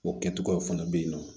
O kɛcogoyaw fana bɛ yen nɔ